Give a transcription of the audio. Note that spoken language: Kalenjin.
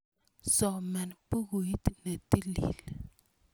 Soman pukuit ne tilil.